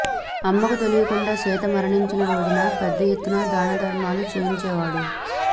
అమ్మ కు తెలీకుండా సీత మరణించిన రోజున పెద్ద ఎత్తున దానధర్మాలు చేయిన్చేవాడు